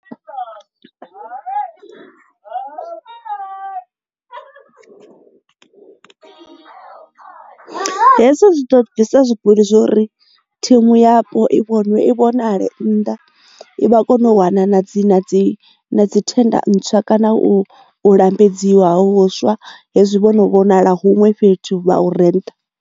Hezwi zwi to bvisa zwigwilk zwori thimu yapo i vhonwe i vhonale nnḓa i vha kone u wana na dzi na dzi dzi thenda ntswa kana u lambedziwe huswa hezwi vho no vhonala huṅwe fhethu vha ure nṱha.